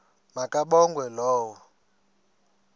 ma kabongwe low